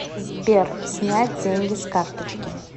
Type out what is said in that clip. сбер снять деньги с карточки